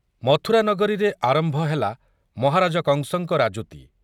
ମଥୁରାନଗରୀରେ ଆରମ୍ଭ ହେଲା ମହାରାଜ କଂସଙ୍କ ରାଜୁତି ।